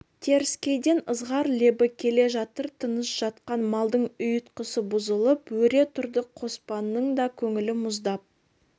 теріскейден ызғар лебі келе жатыр тыныш жатқан малдың ұйтқысы бұзылып өре тұрды қоспанның да көңілі мұздап